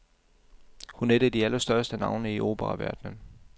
Hun er et af de allerstørste navne i operaverdenen.